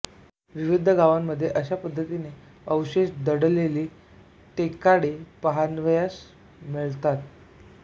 विविध गावांमध्ये अशा पद्धतीचे अवशेष दडलेली टेकाडे पहावयास मिळतात